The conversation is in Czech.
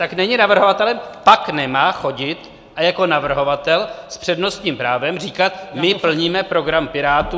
Tak není navrhovatelem, pak nemá chodit a jako navrhovatel s přednostním právem říkat: my plníme program Pirátů.